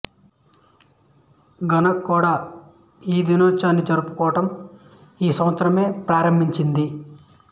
Ghana కూడా ఈ దినోత్సవాన్ని జరుపటం ఈ సంవత్సరమే ప్రారంభించింది